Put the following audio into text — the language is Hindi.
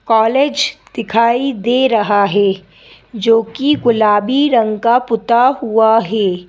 कॉलेज दिखाई दे रहा हैं जो कि गुलाबी रंग का पुता हुआ हैं।